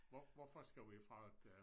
Hvor hvorfor skal vi fragte